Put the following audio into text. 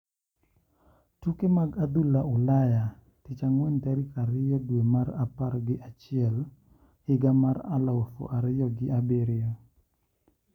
Tuke mag adhula Ulaya Tich Ang`wen tarik ariyo dwe mar apar gi achiel higa mar aluf ariyo gi abiriyo.